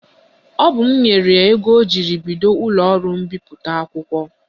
Ọ bụ m nyere ya ego ọ jiri bido ụlọọrụ mbipụta akwụkwọ